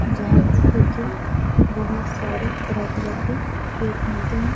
जहाँ पे देखिये बहुत सारे तरह-तरह के केक मिलते हैं।